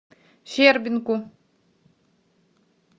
щербинку